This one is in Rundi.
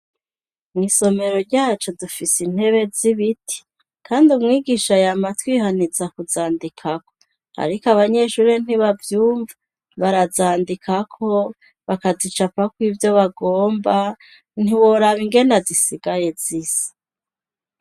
Mw'isomero ryacu dufise intebe z'ibiti kandi umwigisha yama atwihaniza kuzandikako. Ariko abanyeshure ntibavyumva barazandikako, bakazicapako ivyo bagomba ntiworaba ingene zisigaye zisa.